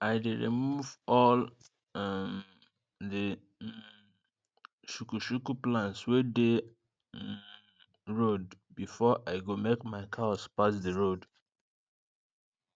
i dey remove all um the um shukushuku plants wey dey um road before i go make my cows pass d road